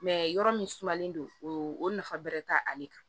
yɔrɔ min sumalen don o nafa bɛrɛ tɛ ale kan